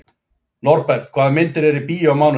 Norbert, hvaða myndir eru í bíó á mánudaginn?